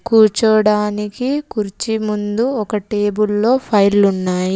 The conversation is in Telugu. కూర్చోడానికి కుర్చీ ముందు ఒక టేబుల్లో ఫైళ్లు ఉన్నాయి.